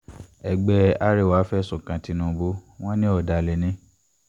ẹgbẹ́ arẹwà fẹ̀sùn kan tìǹbù wọn ní ọ̀dàlẹ̀ ni